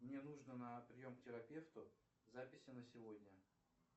мне нужно на прием к терапевту записи на сегодня